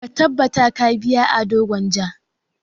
Ka tabbata ka biya Ado Gwanja!